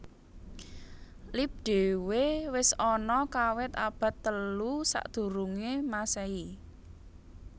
Lip dhewe wis ana kawit abad telu sadurunge mmasehi